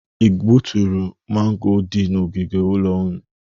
I gbuturu mango dị n'ogige ụlọ gị?